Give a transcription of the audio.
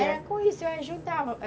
Era com isso, eu ajudava.